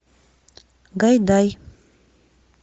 гайдай